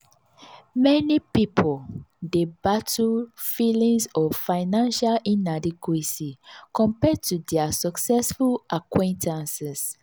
meni pipul dey battle feelings of financial inadequacy compared to dia successful acquaintances.